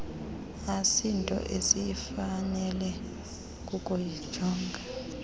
asinto esifanele kukuyijonga